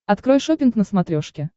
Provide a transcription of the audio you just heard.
открой шоппинг на смотрешке